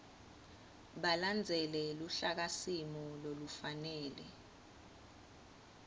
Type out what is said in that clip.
balandzele luhlakasimo lolufanele